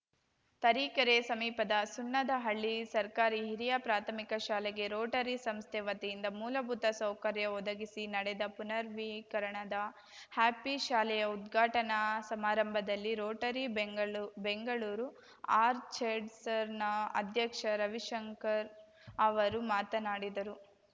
ತರೀಕೆರೆ ಸಮೀಪದ ಸುಣ್ಣದಹಳ್ಳಿ ಸರ್ಕಾರಿಹಿರಿಯಪ್ರಾಥಮಿಕಶಾಲೆಗೆ ರೋಟರಿ ಸಂಸ್ಥೆ ವತಿಯಿಂದ ಮೂಲಬೂತ ಸೌಕರ್ಯ ಒದಗಿಸಿ ನೆಡೆದ ಪುನರ್‌ನವೀಕರಣದ ಹ್ಯಾಪಿ ಶಾಲೆಯ ಉದ್ಘಾಟನಾ ಸಮಾರಂಭದಲ್ಲಿ ರೋಟರಿ ಬೆಂಗಳು ಬೆಂಗಳೂರು ಅರ್ಚೆರ್ಡ್ಸನ ಅಧ್ಯಕ್ಷ ರವಿಶಂಕರ್‌ ಅವರು ಮಾತನಾಡಿದರು